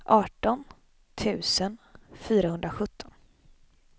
arton tusen fyrahundrasjutton